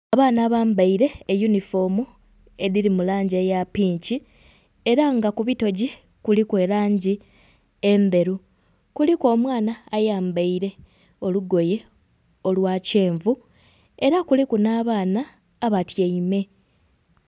Abaana abambaire eyunifomu edhiri mu langi eya pinki era nga kubitoji kuliku erangi endheru, kuliku omwana ayambaire olugoye olwa kyenvu era kuliku n'abaana abatyaime.